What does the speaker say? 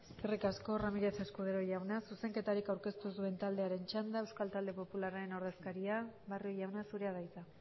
eskerrik asko ramírez escudero jauna zuzenketarik aurkeztu ez duen taldearen txanda euskal talde popularraren ordezkaria barrio jauna zurea da hitza